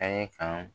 An ye kan